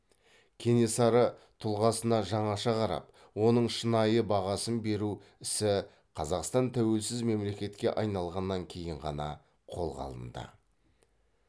кенесары тұлғасына жаңаша қарап оның шынайы бағасын беру ісі қазақстан тәуелсіз мемлекетке айналғаннан кейін ғана қолға алынды